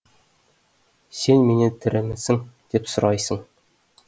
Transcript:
сен менен тірімісің деп сұрайсың